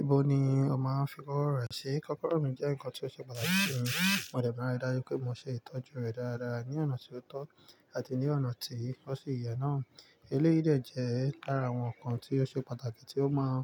Ibo ni o máa ń fi kọ́kọ́rọ́ re ṣi? Kọ́kọ́rọ́ mi jẹ́ nǹkan tí ó ṣe pàtàkì si mi, mo dẹ̀ màa n ri daju pé mo ṣe ìtọ́jú rẹ̀ dáradára ní ọ̀nà tí ó tọ́ àti ní ọ̀nà tí ó sì yẹ náà. Eléyi dè jẹ́ lára àwọn ǹkan tí ó ṣe pàtàkì tí ó máa